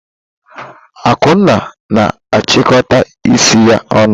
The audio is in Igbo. Akunna na achịkọta isi ya ọnụ.